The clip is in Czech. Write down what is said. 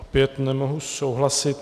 Opět nemohu souhlasit.